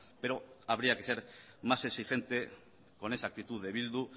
pero habría que ser más exigente con esa actitud de bildu